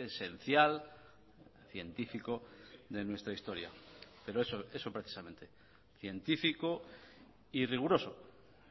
esencial científico de nuestra historia pero eso eso precisamente científico y riguroso